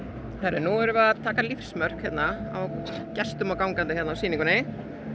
nú erum við að taka lífsmörk á gestum og gangandi á sýningunni